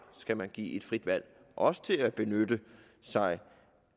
skal man så give et frit valg også til at benytte sig